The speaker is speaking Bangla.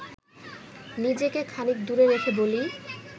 নিজেকে খানিক দূরে রেখে বলি